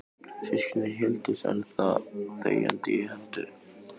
Systkinin héldust enn þá þegjandi í hendur.